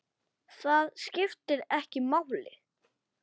Það skiptir ekki máli.